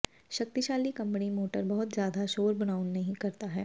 ਸ਼ਕਤੀਸ਼ਾਲੀ ਕੰਬਣੀ ਮੋਟਰ ਬਹੁਤ ਜ਼ਿਆਦਾ ਸ਼ੋਰ ਬਣਾਉਣ ਨਹੀ ਕਰਦਾ ਹੈ